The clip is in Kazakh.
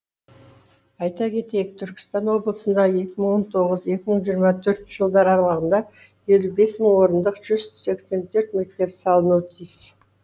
айта кетейік түркістан облысында екі мың он тоғық екі мың жиырма төртінші жылдар аралығында елу бес мың орындық жүз сексен төрт мектеп салынуы тиіс